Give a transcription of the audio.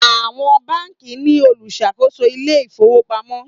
Àwọn bánkì ní oluṣakoso Ilé ìfowópamọ́.